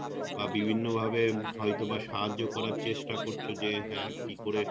বা বিভিন্ন ভাবে হয়তো বা সাহায্য করার চেস্টা করছো যে হ্যাঁ কি করে,